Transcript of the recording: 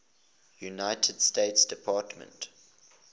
united states department